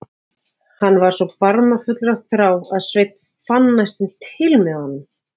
Hann var svo barmafullur af þrá að Sveinn fann næstum til með honum.